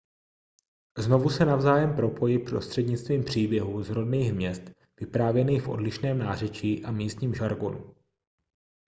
znovu se navzájem propojí prostřednictvím příběhů z rodných měst vyprávěných v odlišném nářečí a místním žargonu